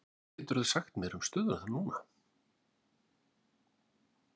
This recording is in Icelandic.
Hvað geturðu sagt mér um stöðuna núna?